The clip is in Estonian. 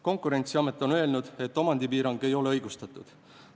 Konkurentsiamet on öelnud, et omandipiirang ei ole õigustatud.